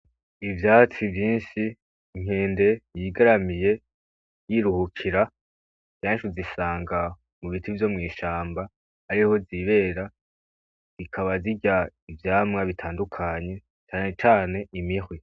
Ivyatsi vyinshi, inkende yigaramiye yiruhukira, kenshi uzisanga mu biti vyo mw'ishamba ariho zibera zikaba zirya ivyamwa bitandukanye canecane imihwi.